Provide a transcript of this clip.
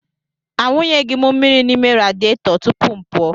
Awụnyeghị m mmiri n'ime radịeto tupu m pụọ.